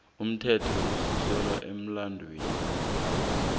umthetho osuselwa emilandwini